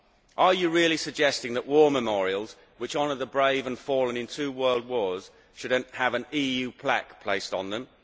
Are you really suggesting that war memorials which honour the brave and fallen in two World Wars should have an EU plaque placed on them?